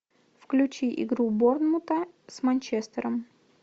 включи игру борнмута с манчестером